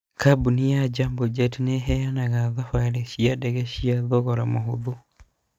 Kambuni ya Jambojet nĩ ĩheanaga thabari cia ndege cia thogora mũhũthũ.